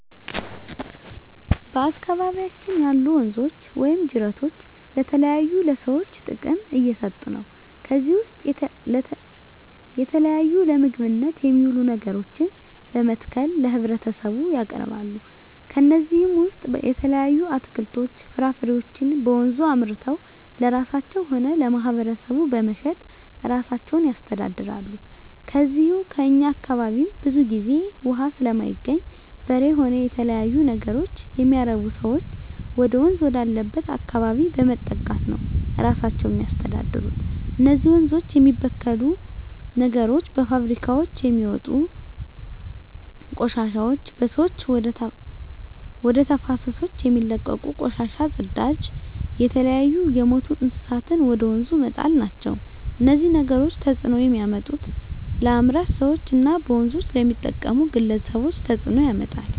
በአካባቢያችን ያሉ ወንዞች ወይም ጅረቶች ለተለያዩ ለሰዎች ጥቅም እየሠጡ ነው ከዚህ ውስጥ የተለያዩ ለምግብነት የሚውሉ ነገሮችን በመትከል ለህብረተሰቡ ያቀርባሉ ከነዚህም ውሰጥ የተለያዩ አትክልቶች ፍራፍሬዎችን በወንዙ አምርተው ለራሳቸው ሆነ ለማህበረሰቡ በመሸጥ እራሳቸውን ያስተዳድራሉ ከዚው ከእኛ አካባቢም ብዙ ግዜ እውሃ ስለማይገኝ በሬ ሆነ የተለያዩ ነገሮች የሚያረቡ ሰዎች ወደወንዝ ወዳለበት አካባቢ በመጠጋት ነው እራሳቸውን የሚያስተዳድሩ እነዚህ ወንዞች የሚበክሉ ነገሮች በፋብሪካውች የሚወጡ ቆሻሾች በሰዎች ወደ ተፋሰሶች የሚለቀቁ ቆሻሻ ጽዳጅ የተለያዩ የምቱ እንስሳትን ወደ ወንዙ መጣል ናቸው እነዚህ ነገሮች ተጽዕኖ የሚያመጡት ለአምራች ሰዎች እና በወንዞች ለሚጠቀሙ ግለሰቦች ተጽእኖ ያመጣል